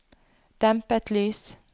dempet lys